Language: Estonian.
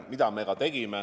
Seda me ka tegime.